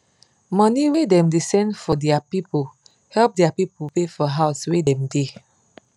money wey dem da send for dia pipu help dia pipu pay for house wey dem da